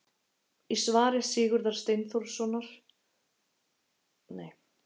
í svari sigurðar steinþórssonar við spurningunni hvernig myndast fellingafjöll